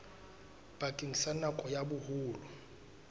bakeng sa nako ya boholo